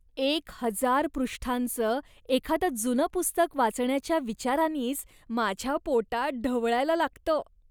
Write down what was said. एक हजार पृष्ठांचं एखादं जुनं पुस्तक वाचण्याच्या विचारानीच माझ्या पोटात ढवळायला लागतं.